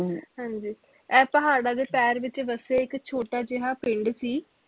ਹਾਂਜੀ ਇਹ ਪਹਾੜਾਂ ਦੇ ਪੈਰ ਵਿਚ ਵਸਿਆ ਇਕ ਛੋਟਾ ਜਿਹਾ ਪਿੰਡ ਸੀ